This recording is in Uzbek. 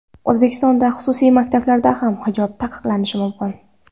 O‘zbekistonda xususiy maktablarda ham hijob taqiqlanishi mumkin .